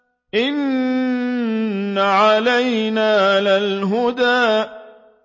إِنَّ عَلَيْنَا لَلْهُدَىٰ